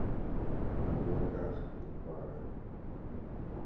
в облаках непара